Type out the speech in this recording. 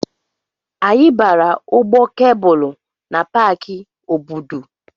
Anyị gbara ụgbọ kebụlụ na Paki Obudu.